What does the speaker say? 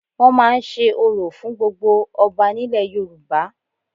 Wọ́n máa ń se orò fún gbogbo ọba nílẹ̀ Yorùbá